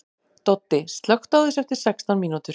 Doddi, slökktu á þessu eftir sextán mínútur.